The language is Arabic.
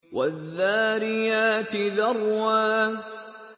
وَالذَّارِيَاتِ ذَرْوًا